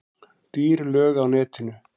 Dýr lög á netinu